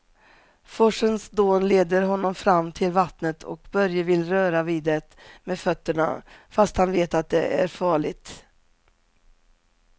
Forsens dån leder honom fram till vattnet och Börje vill röra vid det med fötterna, fast han vet att det är farligt.